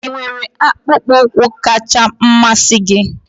ị nwere akpụkpọ ụkwụ kacha mmasị gị?